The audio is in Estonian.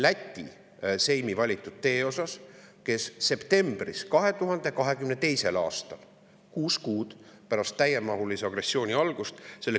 selle küsimuse septembris 2022. aastal, kuus kuud pärast täiemahulise agressiooni algust.